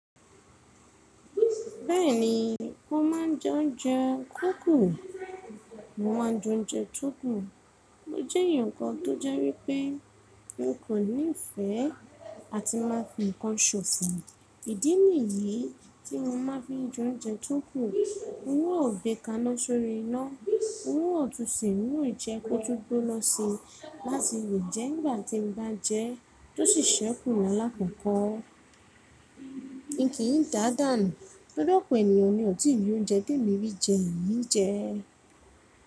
Bẹ́ẹ̀ni, mo ma ń jẹ oúnjẹ tó kù. Mo ma n jẹ oúnjẹ tó kù. Mo jẹ́ eeyan kan tó jẹ́ wípé mo kò ní ìfẹ́ àti máa fi ǹkan ṣòfò. Ìdí nìyí tí mo ma ń fi n jẹ oúnjẹ tó kù. N o gbe kaná sórí iná. N o tún se n ìjẹ́ kó tún gbona sí láti lè jẹ nígbà tí n bá jẹ́ tó sì ṣẹ́kù la lákòkò. N kì í dàdàànu torí ọ̀pọ̀ ènìyàn ni ò tí ì rí oúnjẹ ti èmi rí jẹ yii rí jẹ.